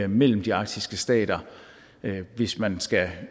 mellem de arktiske stater hvis man skal